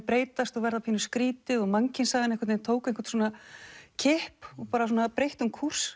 breytast og verða pínu skrýtið og mannkynssagan einhvern veginn tók einhvern kipp og breytti um kúrs